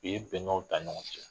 I ye bɛnkaw ta ɲɔgɔn fɛ